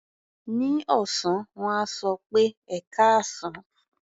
Ní ọ̀sán, wọ́n á sọ pé "ẹkáàsán".